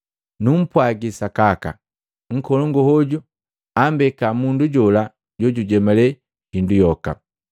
Numpwagi sakaka, nkolongu hoju ambeka mundu jola jujemalya hindu yoka.